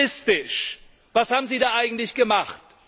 Also juristisch Was haben Sie da eigentlich gemacht?